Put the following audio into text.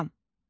Axşam.